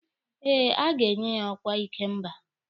Eh, a ga-enye ya ọkwa ikemba.